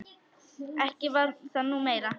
Ekki var það nú meira.